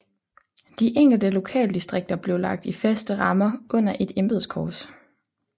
De enkelte lokaldistrikter blev lagt i faste rammer under et nyt embedskorps